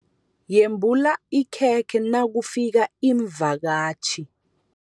Yembula ikhekhe nakufika iimvakatjhi.